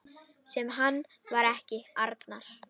Sem hann var ekki, Arnar.